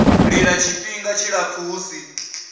lila tshifhinga tshilapfu hu si